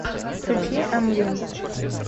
включи амвин